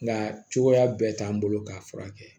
Nga cogoya bɛɛ t'an bolo k'a furakɛ